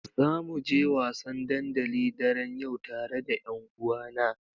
Zamu je wasan dandali daren yau tare da ƴanuwana.